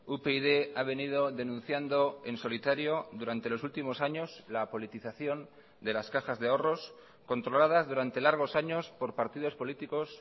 upyd ha venido denunciando en solitario durante los últimos años la politización de las cajas de ahorros controladas durante largos años por partidos políticos